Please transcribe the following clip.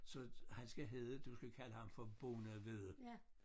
Så han skal hede du skal kalde ham for bonde vedde